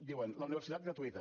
diuen la universitat gratuïta